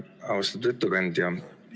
Austatud ettekandja!